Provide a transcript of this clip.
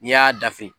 N'i y'a dafe